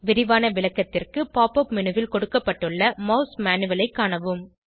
விரிவான விளக்கத்திற்கு pop up menu ல் கொடுக்கப்பட்டுள்ள மாஸ் மேனுவல் ஐ காணவும்